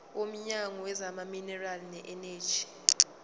womnyango wezamaminerali neeneji